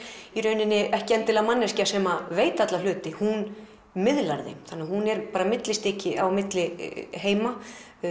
ekki endilega manneskja sem veit alla hluti hún miðlar þeim hún er millistykki milli heima